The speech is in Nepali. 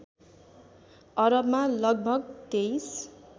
अरबमा लगभग २३